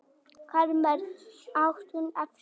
Karlmenn! át hún eftir honum.